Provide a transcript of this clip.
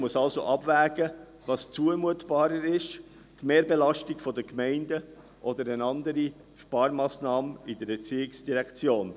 Die EVP musste also abwägen, was zumutbarer ist: die Mehrbelastung der Gemeinden oder eine andere Sparmassnahme in der ERZ.